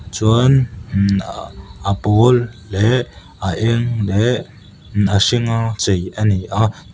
chuan a pawl leh a eng leh a hring a chei ani a.